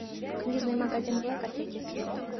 книжный магазин блэка третья серия